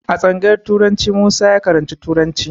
A tsangayar turanci Musa ya karanci turanci.